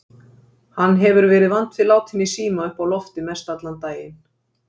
Hann hefur verið vant við látinn í síma uppi á lofti mestallan daginn.